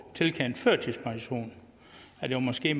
tilkendt førtidspension måske